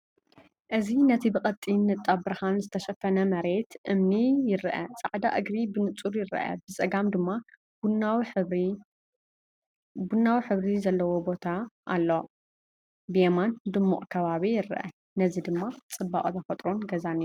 እዚ ነቲ ብቐጢን ንጣብ ብርሃን ዝተሸፈነ መሬት እምኒ ይረአ ፤ ጻዕዳ እግሪ ብንጹር ይርአ፣ ብጸጋም ድማ ቡናዊ ሕብሪ ዘለዎ ቦታ ኣለዎ። ብየማን ድሙቕ ከባቢ ይርአ፣ እዚ ጽባቐ ተፈጥሮን ገዛን እዩ።